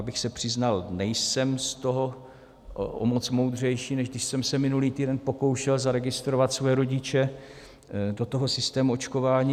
Abych se přiznal, nejsem z toho o moc moudřejší, než když jsem se minulý týden pokoušel zaregistrovat svoje rodiče do toho systému očkování.